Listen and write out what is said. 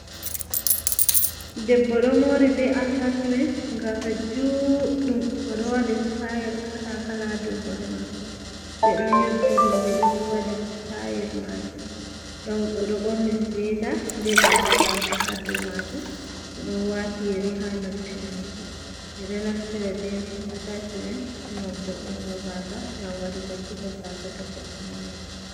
Debbo ɗo mori be atashmen, gasa juɗɗum o ɗo waɗi stayel kala-kala ha dou hore mako. Ɓe ɗon nyobbi ɗum, ɓe ɗo waɗi stayel majum. Ɗon o ɗo ɓorni suweta be gasa-gasa ha dou maajum. O ɗon wati yeri ha noppi mako. Ɓe ɗo naftira ɓe atashmen ngam vo'ungo gasa, ngam waɗugo ciko gasa to goɗɗo moran.